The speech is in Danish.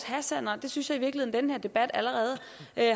hassan og det synes jeg i virkeligheden den her debat allerede